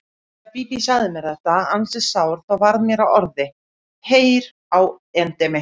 Þegar Bíbí sagði mér þetta ansi sár þá varð mér að orði: Heyr á endemi!